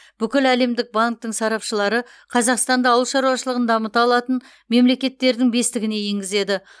бүкіләлемдік банктің сарапшылары қазақстанды ауыл шаруашылығын дамыта алатын мемлекеттердің бестігіне енгізеді